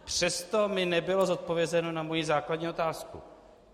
Přesto mi nebylo odpovězeno na mou základní otázku.